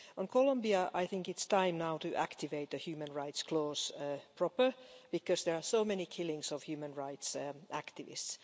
On Colombia I think it is now time to activate the human rights clause proper because there are so many killings of human rights activists.